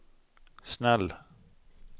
snäll